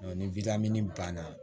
ni banna